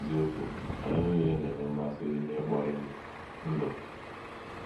N’eziokwu, anyị nile na - enwe mmasị n’ikpori ndụ. ndụ.